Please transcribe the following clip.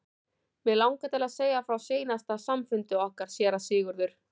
Mig langar til að segja frá seinasta samfundi okkar séra Sigurðar.